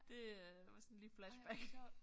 Det øh var sådan lige flashback